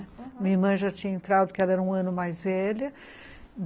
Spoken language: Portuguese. Minha irmã já tinha entrado, porque ela era um ano mais velha.